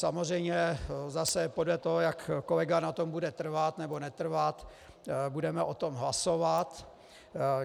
Samozřejmě zase podle toho, jak kolega na tom bude trvat nebo netrvat, budeme o tom hlasovat.